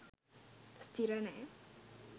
ස්ථිර නෑ